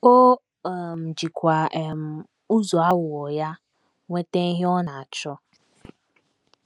O um jikwa um ụzọ aghụghọ ya nweta ihe ọ na - achọ.